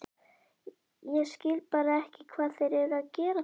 Ég skil bara ekki hvað þeir eru að gera þarna?